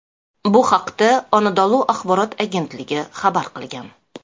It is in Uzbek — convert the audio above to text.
Bu haqda Anadolu axborot agentligi xabar qilgan .